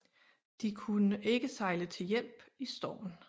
De kunne ikke sejle til hjælp i stormen